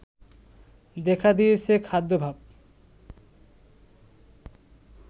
দেখা দিয়েছে খাদ্যাভাব